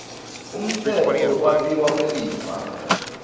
umtsetfo wekwabiwa kwelifa